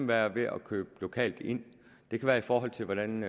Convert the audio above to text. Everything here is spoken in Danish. være ved at købe lokalt ind det kan være i forhold til hvordan